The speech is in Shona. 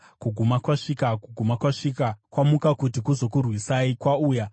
Kuguma kwasvika! Kuguma kwasvika! Kwamuka kuti kuzokurwisai. Kwauya!